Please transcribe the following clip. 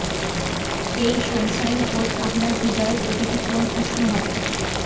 এই sunshine coat আপনার হৃদয়ের প্রতিটি কোণ উষ্ণ হবে